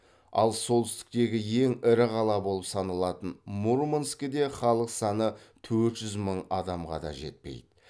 ал солтүстіктегі ең ірі қала болып саналатын мурманскіде халық саны төрт жүз мың адамға да жетпейді